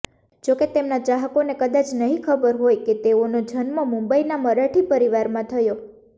જોકે તેમના ચાહકોને કદાચ નહિ ખબર હોય કે તેઓનો જન્મ મુંબઈના મરાઠી પરિવારમાં થયો